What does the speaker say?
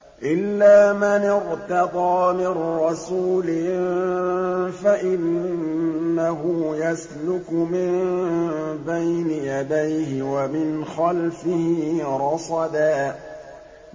إِلَّا مَنِ ارْتَضَىٰ مِن رَّسُولٍ فَإِنَّهُ يَسْلُكُ مِن بَيْنِ يَدَيْهِ وَمِنْ خَلْفِهِ رَصَدًا